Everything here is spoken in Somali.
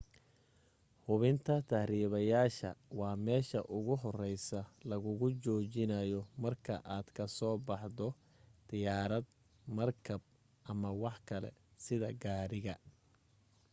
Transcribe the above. hubinta tahribayaasha waa meesha ugu horeysa lagugu joojinayo marka aad ka soo baxdo diyaarad markab ama wax kale sida gaadhiga